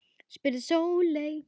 spurði Sóley